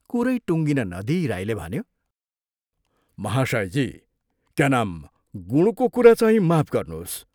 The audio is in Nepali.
कुरै टुङ्गिन नदिई राईले भन्यो, "महाशयजी, क्या नाम गुणको चुराचाहिँ माफ गर्नोस्।